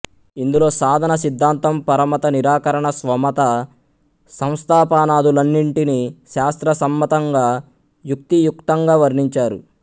ఇందులో సాధన సిద్ధాంతం పరమత నిరాకరణ స్వమత సంస్థాపనాదులన్నింటిని శాస్త్ర సమ్మతంగా యుక్తి యుక్తంగా వర్ణించారు